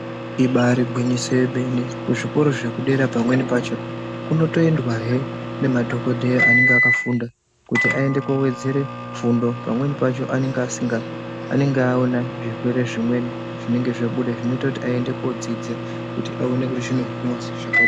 Ibari gwinyiso yemene, kuzvikoro zvekudera pamweni pacho kunotoendwahe nemadhokodheya anenge akafunda kuti awedzere fundo pamweni pacho. anenge aona zvirwere zvimweni zvinenge zvabuda zvinoita kuti aende kodzidza kuti aone kuti zvinohinwa zvakadini.